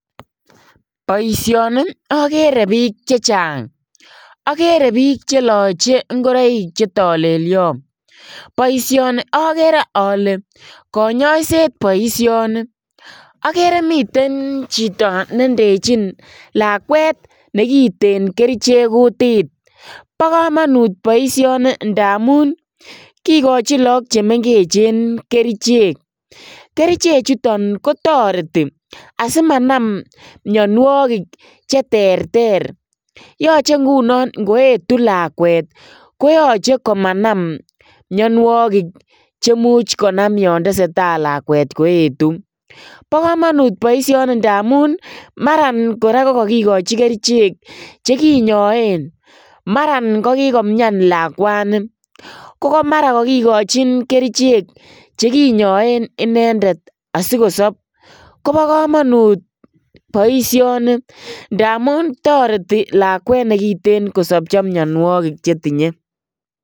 Boisioni agere biik che chang. Agere biik che lochi ngoroik che tolelio. Boisioni agere ale konyoiset boisioni. Agere miten chito ne ndechin lakwet nekiten kerichek kutit. Bo kamanut boisioni ndamun kigachin look che mengechen kerichek. Keriche chuton ko toreti asimanam mianwogik cheterter. Yoche ngunon ngoetu lakwet koyache komanam mianwogik che much konam yotesetai lakwet koetu. Bokamanut boisioni ndamun mara kora ko kagikochi kerichek che kinyoen. Mara kokikomian lakwani, ko marakagikochin kerichek che kinyoen inendet asikosop. Kobo kamanut boisioni ndamun toreti lakwet ne giten kosopcho mianwogik chetinye.